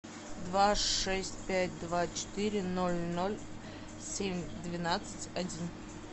два шесть пять два четыре ноль ноль семь двенадцать один